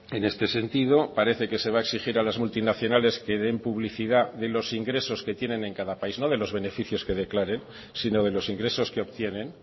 en este sentido parece que se va a exigir a las multinacionales que den publicidad de los ingresos que tienen en cada país no de los beneficios que declaren sino de los ingresos que obtienen